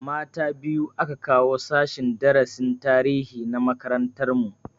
Mata biyu aka kawo sashen darasin tarihi na makarantar mu